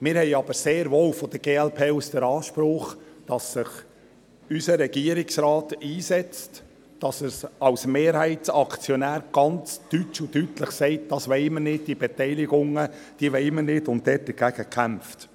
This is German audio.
Wir haben aber sehr wohl von der glp aus den Anspruch, dass sich unser Regierungsrat einsetzt, dass er als Mehrheitsaktionär ganz deutsch und deutlich sagt, «Das wollen wir nicht, diese Beteiligungen wollen wir nicht.» und dagegen kämpft.